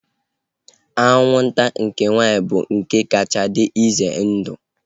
Anwụnta nke nwaanyị bụ nke kacha dị ize ndụ